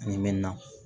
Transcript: Ni mɛɛnna